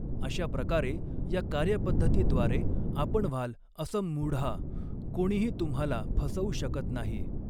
अशा प्रकारे या कार्यपध्दती द्वारे आपण व्हाल असम्मूढः कोणीही तुम्हाला फसवू शकत नाही.